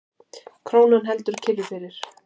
Krónan heldur kyrru fyrir